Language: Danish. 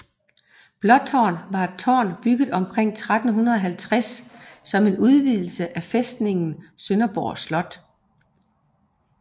Blåtårn var et tårn bygget omkring 1350 som en udvidelse af fæstningen Sønderborg Slot